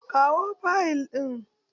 Kawo fayil ɗin!